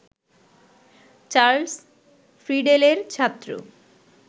Charles ফ্রিডেলের ছাত্র